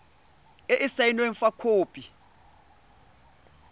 e e saenweng fa khopi